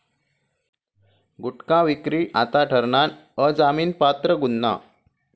गुटखा विक्री आता ठरणार अजामिनपात्र गुन्हा